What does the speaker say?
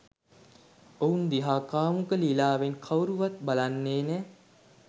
ඔවුන් දිහා කාමුක ලීලාවෙන් කවුරුවත් බලන්නෙ නෑ